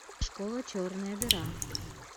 школа черная дыра